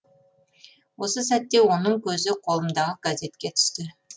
осы сәтте оның көзі қолымдағы газетке түсті